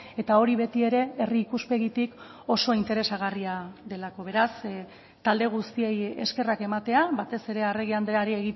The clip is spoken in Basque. eta hori beti ere herri ikuspegitik oso interesagarria delako beraz talde guztiei eskerrak ematea batez ere arregi andreari